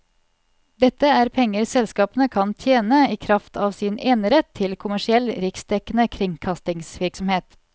Dette er penger selskapene kan tjene i kraft av sin enerett til kommersiell riksdekkende kringkastingsvirksomhet.